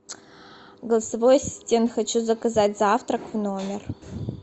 голосовой ассистент хочу заказать завтрак в номер